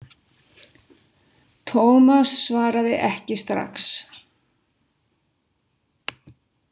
Thomas svaraði ekki strax.